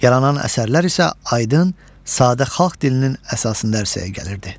Yaranan əsərlər isə aydın, sadə xalq dilinin əsasında ərsəyə gəlirdi.